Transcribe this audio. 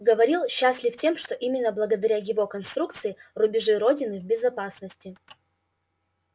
говорил счастлив тем что именно благодаря его конструкции рубежи родины в безопасности